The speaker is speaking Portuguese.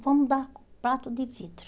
Vamos dar prato de vidro.